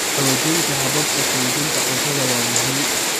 Xoojinta hababka kaydinta cuntada waa muhiim.